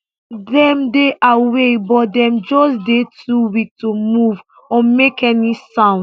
dem dey awake but dem just dey too weak to move or make any sound